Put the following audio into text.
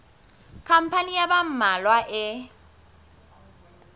khampani ya ba mmalwa e